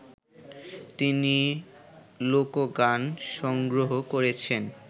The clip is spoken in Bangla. তিনি লোকগান সংগ্রহ করেছেন